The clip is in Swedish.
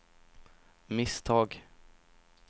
misstag